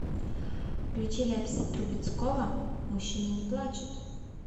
включи ляписа трубецкого мужчины не плачут